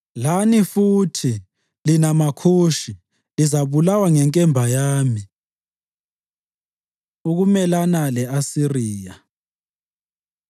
“Lani futhi, lina maKhushi lizabulawa ngenkemba yami.” Ukumelana Le-Asiriya